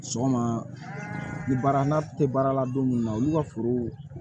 Sɔgɔma ni baara tɛ baara la don mun na olu ka foro